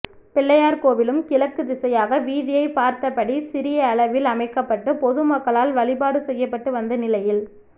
பிள்ளையார் கோவிலும் கிழக்கு திசையாக வீதியை பார்த்த படி சிறியளவில் அமைக்கப்பட்டு பொது மக்களால் வழிபாடு செய்யப்பட்டு வந்த நிலையில்